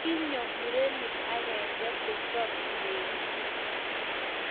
kinyo murene agenge kosom kiberitit